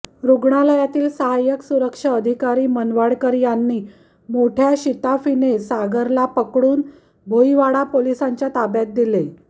रुग्णालयातील सहाय्यक सुरक्षा अधिकारी मनवाडकर यांनी मोठय़ा शिताफीने सागरला पकडून भोईवाडा पोलिसांच्या ताब्यात दिले